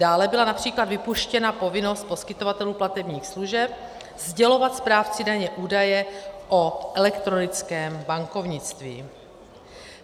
Dále byla například vypuštěna povinnost poskytovatelů platebních služeb sdělovat správci daně údaje o elektronickém bankovnictví.